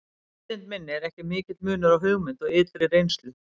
Í vitund minni er ekki mikill munur á hugmynd og ytri reynslu.